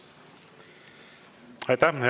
Aitäh!